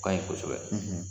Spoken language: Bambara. O ka ɲi kosɛbɛ.